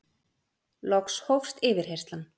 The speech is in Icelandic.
Loks hófst yfirheyrslan.